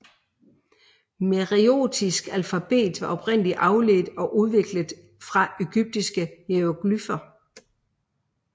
Meroitisk alfabet var oprindelig afledt og udviklet fra egyptiske hieroglyfer